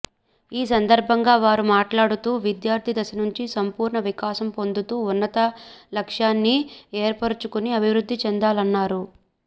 ఈ సందర్భంగా వారు మాట్లాడుతూ విద్యార్థి దశ నుంచే సంపూర్ణ వికాసం పొందుతూ ఉన్నత లక్ష్యాన్ని ఏర్పరుచుకుని అభివృద్ధి చెందాలన్నారు